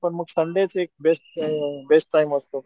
पण मग संडे च एक बेस्ट बेस्ट टाईम असतो